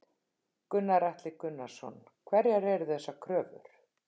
Gunnar Atli Gunnarsson: Hverjar eru þessar kröfur?